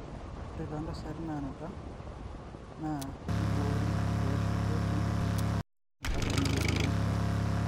ore tontasati nanuta, na kiboori eoshoto empisha ampaka neyiuni enkerai.